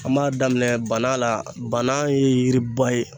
An b'a daminɛ bana la bana ye yiriba ye